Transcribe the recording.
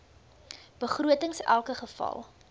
begrotings elke geval